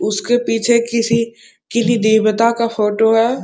उसके पीछे किसी किली देवता का फोटो है।